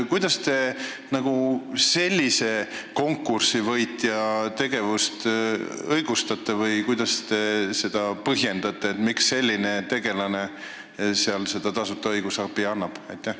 Kuidas te sellise konkursivõitja tegevust õigustate või kuidas te põhjendate, miks selline tegelane seal tasuta õigusabi annab?